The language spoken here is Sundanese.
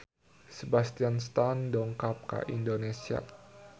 Sebastian Stan dongkap ka Indonesia